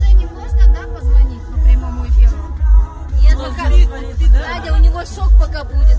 я благовидными педали у него шок пока будет